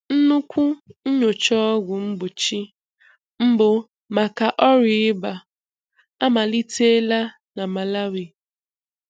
Nnukwu nyocha ọgwụ mgbochi mbụ maka ọrịa ịba amalitela na Malawi.